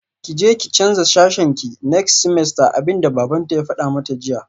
Kije ki canza sashenki next semester abinda babanta ya fada mata jiya